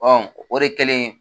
Ɔ o de kɛlen